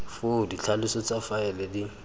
foo ditlhaloso tsa faele di